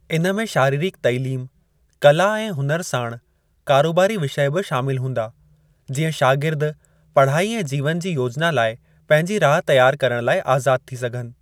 इन में शारीरिक तालीम, कला ऐं हुनुरु साणु कारोबारी विषय बि शामिल हूंदा, जीअं शागिर्द पढ़ाई ऐं जीवन जी योजना लाइ पंहिंजी राह तियार करण लाइ आज़ाद थी सघनि।